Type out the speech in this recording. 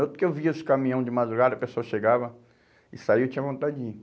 Outro que eu via os caminhão de madrugada, a pessoa chegava e saía, eu tinha vontade de ir.